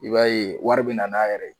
I b'a ye wari bɛ na n'a yɛrɛ